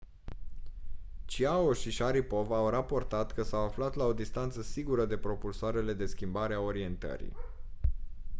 chiao și sharipov au raportat că s-au aflat la o distanță sigură de propulsoarele de schimbare a orientării